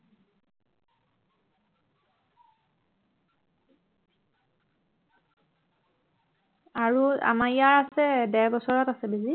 আৰু আমাৰ ইয়াৰ আছে ডেৰ বছৰত আছে বেজী